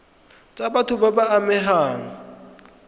tsa batho ba ba amegang